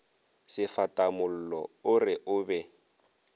sefatamollo o re o be